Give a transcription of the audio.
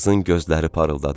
Qızın gözləri parıldadı.